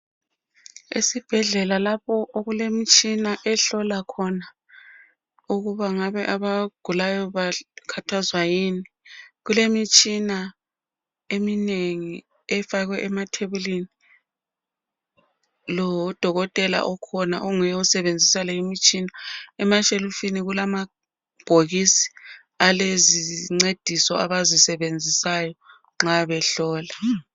Esibhedlela lapho okulemtshina ehlola khona okubangabe abagulayo bakhathazwa yini. Kulemitshina eminengi efakwe emathebulini. Lo udokotela okhona onguye osebenzisa le imitshina. Emashelifini kulamabhokisi alezincediso abazisebenzisayo nxa behlola.